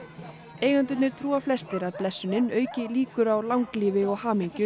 eigendurnir trúa flestir að blessunin auki líkur á langlífi og hamingju